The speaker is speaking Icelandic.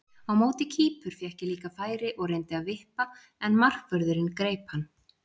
Á móti Kýpur fékk ég líka færi og reyndi að vippa en markvörðurinn greip hann.